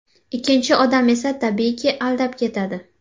Ikkinchi odam esa tabiiyki, aldab ketadi.